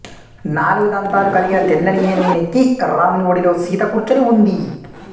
నాలుగు దంతాలు కలిగిన తెల్లని ఏనుగు నెక్కి రాముని ఒడిలో సీత కూర్చుని ఉంది